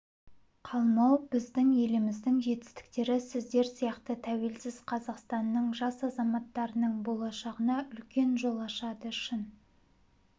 қалмау біздің еліміздің жетістіктері сіздер сияқты тәуелсіз қазақстанның жас азаматтарының болашағына үлкен жол ашады шын